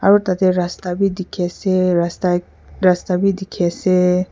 aro tati rasta beh teki ase rasta ek rasta beh teki asee.